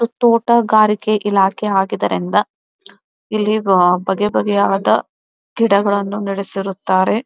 ತೋಟಗಾರಿಕೆ ಇಲಾಖೆ ಆಗಿದರೆಂಬ ಇಲ್ಲಿ ವ ಬಗೆ ಬಗೆಯಾದ ಗಿಡಗಳನ್ನು ನೆಡೆಸಿರುತ್ತಾರೆ.